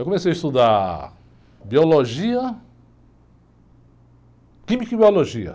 Eu comecei a estudar biologia, química e biologia.